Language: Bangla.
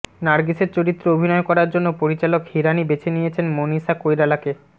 নারগিসের চরিত্রে অভিনয় করার জন্য পরিচালক হিরানি বেছে নিয়েছেন মনীষা কৈরালাকে